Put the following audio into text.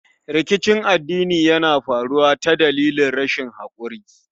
Rikicin addini Yana faruwa ta dalilin rashin hakuri